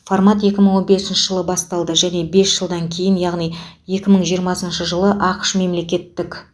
формат екі мың он бесінші жылы басталды және бес жылдан кейін яғни екі мың жиырмасыншы жылы ақш мемлекеттік